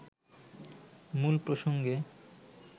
মূল প্রসঙ্গে